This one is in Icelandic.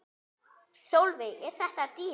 Sólveig: Er þetta dýrt?